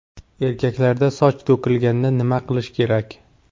Erkaklarda soch to‘kilganda nima qilish kerak?